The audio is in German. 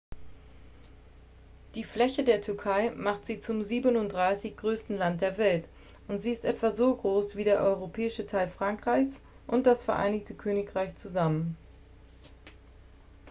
die fläche der türkei macht sie zum 37.-größten land der welt und sie ist etwa so groß wie der europäische teil frankreichs und das vereinigte königreich zusammen